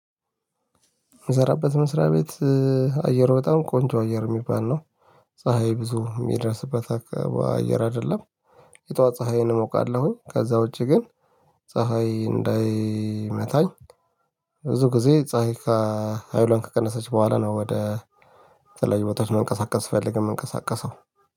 የምሰራበት መስሪያ ቤት አየሩ በጣም ቆንጆ አየር የሚባል ነው። ፀሀይ ብዙ የሚደርስበት አካባ አየር አይደለም። የጧት ፀሀይዬን እሞቃለሁኝ ከዛ ውጪ ግን ፀሀይ እንዳይመታኝ ብዙ ጊዜ ፀሀይ ከሀይሏን ከቀነሰች በኋላ ነው ወደ ተላዩ ቦታዎች መንቀሳቀስ ስፈልግ የምንቀሳቀሰው